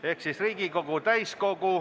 Head kolleegid!